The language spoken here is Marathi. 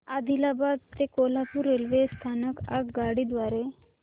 आदिलाबाद ते कोल्हापूर रेल्वे स्थानक आगगाडी द्वारे